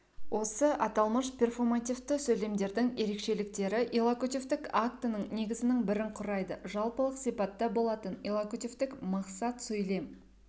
осы аталмыш перфомативті сөйлемдердің ерекшеліктері иллокутивтік актінің негізінің бірін құрайды жалпылық сипатта болатын иллокутивтік мақсат сөйлем